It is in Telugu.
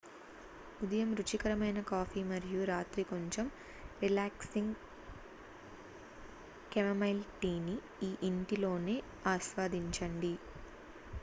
ఉదయం రుచికరమైన కాఫీ మరియు రాత్రి కొంచెం రిలాక్సింగ్ కెమమైల్ టీని మీ ఇంటిలోనే ఆస్వాదించండి